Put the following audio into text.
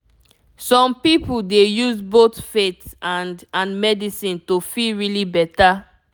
some people dey use both faith and and medicine to feel really beta